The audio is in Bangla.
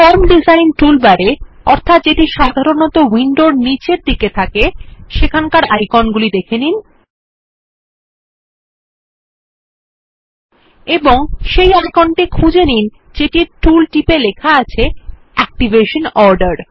ফর্ম ডিজাইন টুলবারে যেটি সাধারনত উইন্ডো এর নিচের দিকে থাকে আইকন গুলি দেখে নিন এবং সেই আইকনটি খুঁজে নিন যেটির টুল টিপ এ লেখা আছে অ্যাক্টিভেশন অর্ডার